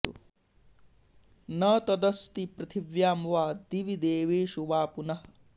न तदस्ति पृथिव्यां वा दिवि देवेषु वा पुनः